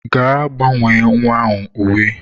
Gaa gbanwee nwa ahụ uwe.